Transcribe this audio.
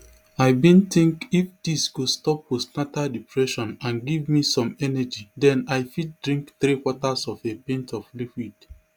i bin think if dis go stop postnatal depression and give me some energy den i fit drink threequarters of a pint of liquid